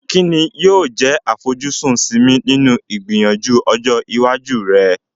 Kí ni yóò jẹ́ àfojúsùn Simi nínú ìgbìyànjú ọjọ́ iwájú rẹ̀?